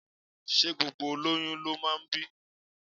Ṣé gbogbo olóyún ló máa ń bí?